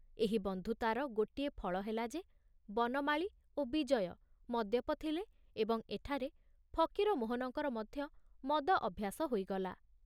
ଏହି ବନ୍ଧୁତାର ଗୋଟିଏ ଫଳ ହେଲା ଯେ ବନମାଳୀ ଓ ବିଜୟ ମଦ୍ୟପ ଥିଲେ ଏବଂ ଏଠାରେ ଫକୀରମୋହନଙ୍କର ମଧ୍ୟ ମଦ ଅଭ୍ୟାସ ହୋଇଗଲା।